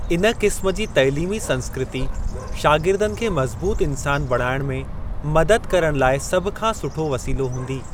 इन क़िस्म जी तइलीमी संस्कृती शागिर्दनि खे मज़बूत इंसान बणाइण में मदद करण लाइ सभ खां सुठो वसीलो हूंदी।